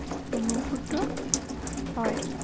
অনুভূত হয়।